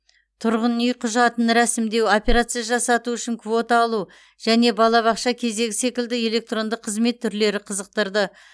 тұрғын үй құжатын рәсімдеу операция жасату үшін квота алу және балабақша кезегі секілді электронды қызмет түрлері қызықтырды